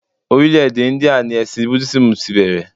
Orílẹ̀ èdè Íńdíà ni ẹ̀sìn Búdísíìmù ti bẹ̀rẹ̀.